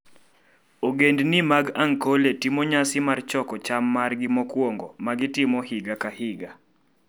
Ogendini mag Ankole timo nyasi mar choko cham margi mokwongo ma gitimo higa ka higa.